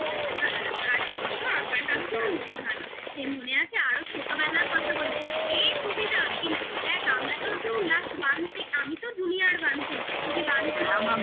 সত্যি ভালো লাগতো আর তোর তো আকার হাত বরাবরই ভালো মনে আছে আরো ছোটবেলার কথা বলছি এই সুবিধা কিন্তু দেখ আমরা তো class one থেকে আমি তো junior one থেকে তুই one থেকে